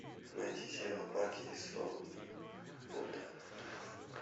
найти сериал парки и зоны отдыха